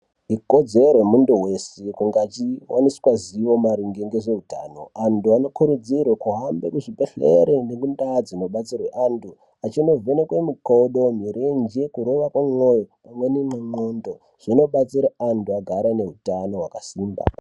Ikodzere yemuntu wese kuti ange achiwaniswe zivo maringe ngezveutano .Antu anokurudzirwa kuhamba muzvibhehlera nemindaa dzinobatsirwe antu ,achinovhenekwe makodo ,kurova kwemoyo mirenje pamwe nen'con'condo